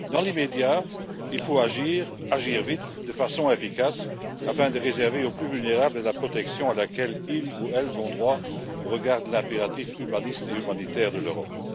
Dans l'immédiat, il faut agir vite et de façon efficace afin de réserver aux plus vulnérables la protection à laquelle ils ou elles ont droit au regard de l'impératif humaniste et humanitaire de l'Europe.